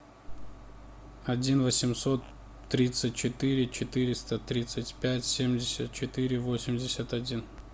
один восемьсот тридцать четыре четыреста тридцать пять семьдесят четыре восемьдесят один